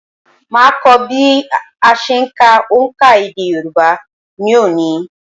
Màá kọ́ bí a se ń ka òǹkà èdè Yorùbá ní òní